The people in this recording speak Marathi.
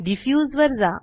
डिफ्यूज वर जा